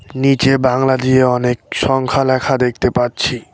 নীচে বাংলা দিয়ে অনেক সংখ্যা লেখা দেখতে পাচ্ছি।